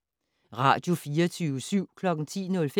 Radio24syv